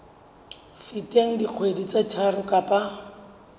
feteng dikgwedi tse tharo kapa